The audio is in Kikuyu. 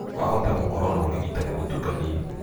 Wahota gũkoro na ũrigitani mũtukanie.